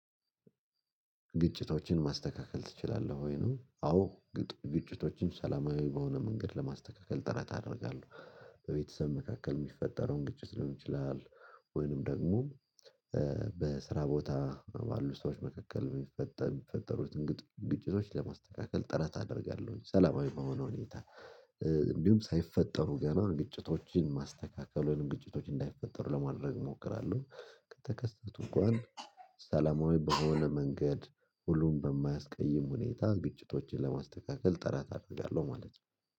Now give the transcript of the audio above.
ግጭቶችን ማስተካከል ትችላለህ ወይ ነው? አዎ። ግጭቶችን ሰላማዊ በሆነ መንገድ ለማስተካከል ጥረት አደርጋለሁ በቤተሰብ መካከል የሚፈጠረውን ግጭት ሊሆን ይችላል። ወይንም ደግሞ በስራ ቦታ ባሉ ሰዎች መካከል የሚፈጠሩትን ግጭቶች ለማስተካከል ጥረት አደርጋለሁ። ሰላማዊ በሆነ ሁኔታ እንዲሁም ሳይፈጠሩ ገና ግጭቶችን ማስተካከሉንም ግጭቶች እንዳይፈጠሩ ለማድረግ እሞክራለሁ። ከተከሰቱ እንኳን ሰላማዊ በሆነ መንገድ ሁሉን በማያስቀይም ሁኔታ ግጭቶችን ለማስተካከል ጥረት አደርጋለሁ። ማለት ነው